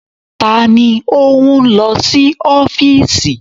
Ta ni ó ń lọ sí ọ́fíìsì?